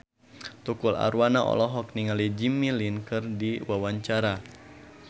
Tukul Arwana olohok ningali Jimmy Lin keur diwawancara